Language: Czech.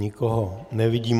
Nikoho nevidím.